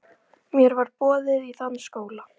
Mér var boðið á þann skóla.